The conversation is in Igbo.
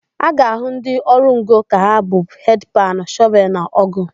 A ga-ahụ ndị ọrụ ngo ka ha bu hedị panụ, shọvelụ na ọ́gụ̀.